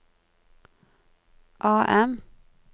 AM